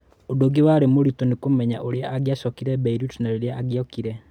Ũndũ ũngĩ warĩ mũritũ nĩ kũmenya ũrĩa angĩcokire Beirut na rĩrĩa angĩokire.